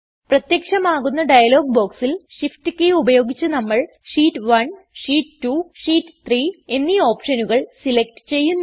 പ്രത്യക്ഷമാകുന്ന dialog ബോക്സിൽ shift key ഉപയോഗിച്ച് നമ്മൾ ഷീറ്റ് 1 ഷീറ്റ് 2 ഷീറ്റ് 3 എന്നീ ഓപ്ഷനുകൾ സെലക്ട് ചെയ്യുന്നു